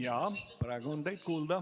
Jaa, praegu on teid kuulda.